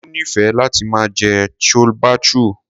Tolu nífẹẹ láti máa jẹ chole bhature.